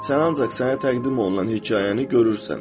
Sən ancaq sənə təqdim olunan hekayəni görürsən.